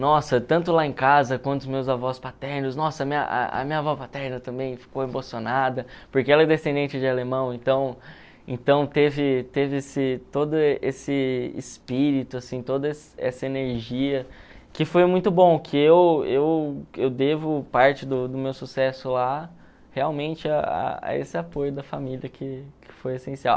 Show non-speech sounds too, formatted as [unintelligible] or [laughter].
Nossa, tanto lá em casa quanto os meus avós paternos, nossa, a minha a a minha avó paterna também ficou emocionada, porque ela é descendente de alemão, então então teve teve esse todo esse espírito, assim, toda [unintelligible] essa energia, que foi muito bom, que eu eu eu devo parte do do meu sucesso lá realmente a a esse apoio da família que que foi essencial.